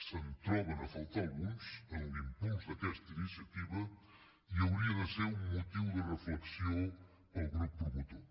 se’n troben a faltar alguns en l’impuls d’aquesta iniciativa i hauria de ser un motiu de reflexió per al grup promotor